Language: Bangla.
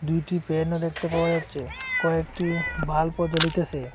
দুইটি পেনও দেখতে পাওয়া যাচ্ছে কয়েকটি বাল্বও জ্বলিতেসে।